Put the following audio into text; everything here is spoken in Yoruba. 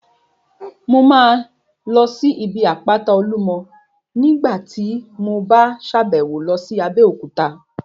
Mo máa lọ sí ibi àpáta Olúmọ ní nígbàtí mo bá sàbẹ̀wo lọ sí Abéòkúta